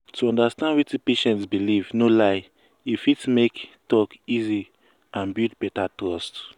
to understand wetin patient believe no um lie e fit make talk easy and build better trust